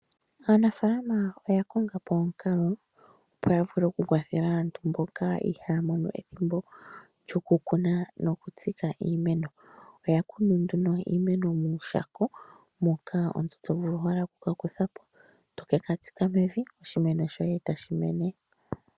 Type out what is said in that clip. Aanafaalama oya kongapo omukalo opo ya vule oku kwathela aantu mboka ihaya mono ethimbo lyoku kuna noku tsika iimeno. Oya kunu nduno iimeno muushako moka omuntu to vulu owala okuka kutha po toka tsika mevi , oshimeno shoye tashi mene.